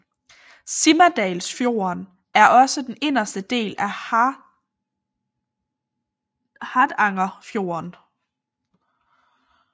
Simadalsfjorden er også den inderste del af Hardangerfjorden